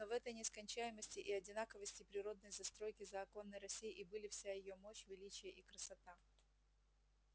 но в этой нескончаемости и одинаковости природной застройки заоконной россии и были вся её мощь величие и красота